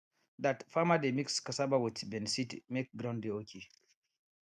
dat farmer dey mix cassava with beniseed make ground dey okay